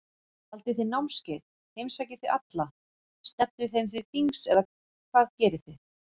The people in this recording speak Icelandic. Haldið þið námskeið, heimsækið þið alla, stefnið þeim til þings eða hvað gerið þið?